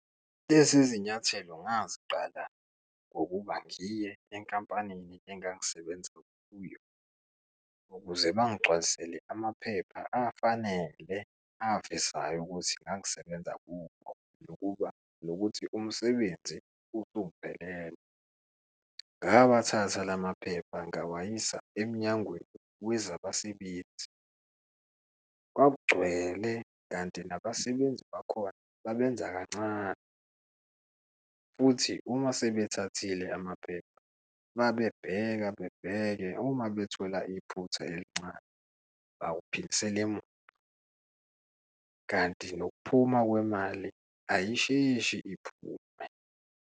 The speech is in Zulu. Lezi zinyathelo ngaziqala ngokuba ngiye enkampanini engangisebenza kuyo, ukuze bangigcwalisele amaphepha afanele avezayo ukuthi ngangisebenza kubo nokuba nokuthi umsebenzi usungiphelele. Ngawathatha la maphepha ngiyawayisa emnyangweni wezabasebenzi. Kwakugcwele, kanti nabasebenzi bakhona babenza kancane futhi uma sebethathile amaphepha, babebheka bebheke, uma bethola iphutha elincane bakuphindisele emuva, kanti nokuphuma kwemali ayisheshi iphume.